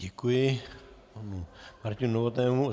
Děkuji panu Martinu Novotnému.